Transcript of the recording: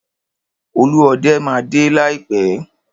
Olúọdẹ máa dé láìpẹ́.